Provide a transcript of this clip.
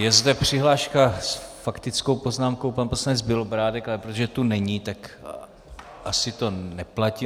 Je zde přihláška - s faktickou poznámkou pan poslanec Bělobrádek, ale protože tu není, tak asi to neplatí.